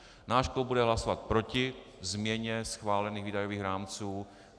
Náš klub bude hlasovat proti změně schválených výdajových rámců.